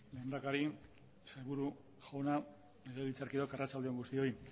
lehendakari sailburu jauna legebiltzarkideok arratsalde on guztioi